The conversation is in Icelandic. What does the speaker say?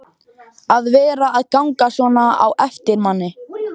að vera að ganga svona á eftir manni.